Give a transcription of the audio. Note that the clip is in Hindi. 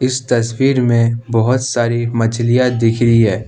इस तस्वीर में बहोत सारी मछलियां दिख रही है।